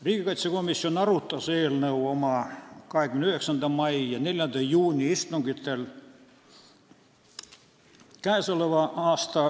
Riigikaitsekomisjon arutas eelnõu oma 29. mai ja 4. juuni istungil.